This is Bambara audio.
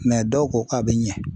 dɔw ko k'a bɛ ɲɛ.